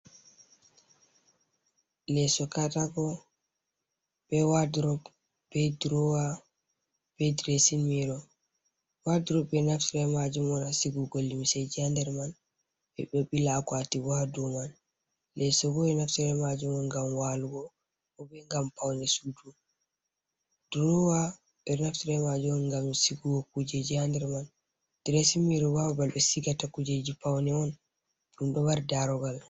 Lesso katako, be wadrop, be drowa, be drasmiro, wadrop ɓeɗo naftra be majum on ha sigugo limiseji ha nder man, be ɗobila akwati bo ha daw man lesso ɓe ɗo naftira ɓeman tra majumon ngam walugo kobe ngam paune sudu drowa ɓeɗo naftra be majum on ngam sigugo kujeji ha nder man drain miro babal ɓe sigata kujeji paune on ɗum ɗon mari darogal.